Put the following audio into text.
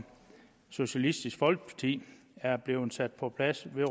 socialistisk folkeparti er blevet sat på plads med